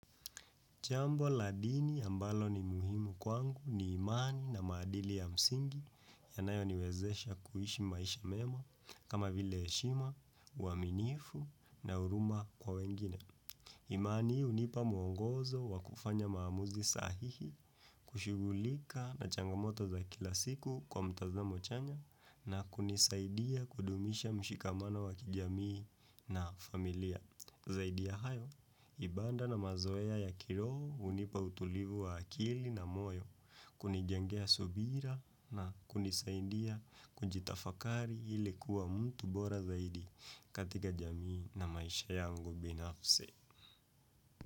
Jambo la dini ambalo ni muhimu kwangu ni imani na maadili ya msingi yanayoniwezesha kuishi maisha mema kama vile heshima, uaminifu na huruma kwa wengine. Imani hunipa mwongozo wa kufanya maamuzi sahihi kushughulika na changamoto za kila siku kwa mtazamo chanya na kunisaidia kudumisha mshikamana wa kijamii na familia. Zaidi ya hayo, ibada na mazoea ya kiroho hunipa utulivu wa akili na moyo, kunijengea subira na kunisaindia kujitafakari ili kuwa mtu bora zaidi katika jamii na maisha yangu binafsi.